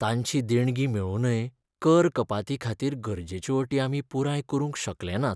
तांची देणगी मेळूनय कर कपातीखातीर गरजेच्यो अटी आमी पुराय करूंक शकले नात.